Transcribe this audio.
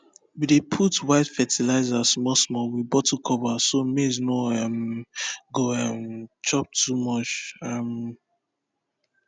we dey put white fertilizer small small with bottle cover so maize no um go um chop too much um